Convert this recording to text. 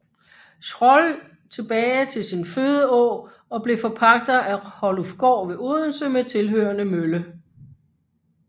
Schroll tilbage til sin fødeå og blev forpagter af Hollufgård ved Odense med tilhørende mølle